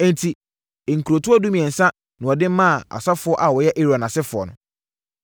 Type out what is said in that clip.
Enti, nkurotoɔ dumiɛnsa na wɔde maa asɔfoɔ a wɔyɛ Aaron asefoɔ no.